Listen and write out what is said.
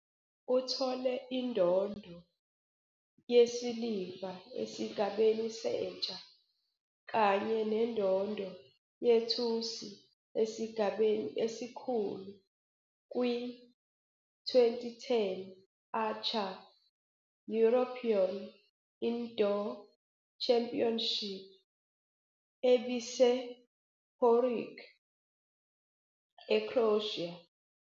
Uthole indondo yesiliva esigabeni sentsha kanye nendondo yethusi esigabeni esikhulu kwi- 2010 Archery European Indoor Championship ebisePoreč, eCroatia.